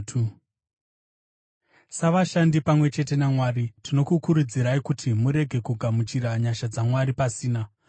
Savashandi pamwe chete naMwari tinokukurudzirai kuti murege kugamuchira nyasha dzaMwari pasina.